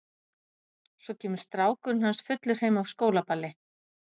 Svo kemur strákurinn hans fullur heim af skólaballi.